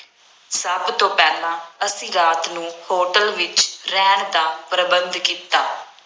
ਸਭ ਤੋਂ ਪਹਿਲਾਂ ਅਸੀਂ ਰਾਤ ਨੂੰ ਹੋਟਲ ਵਿੱਚ ਰਹਿਣ ਦਾ ਪ੍ਰਬੰਧ ਕੀਤਾ।